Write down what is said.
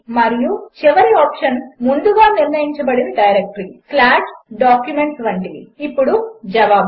మరియు చివరి ఆప్షన్ ముందుగా నిర్ణయించబడిన డైరెక్టరీ documents వంటివి ఇప్పుడు జవాబులు